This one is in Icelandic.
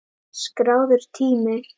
Skráður tími